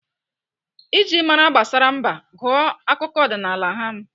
Iji mara gbasara mba, gụọ akụkọ ọdịnaala ham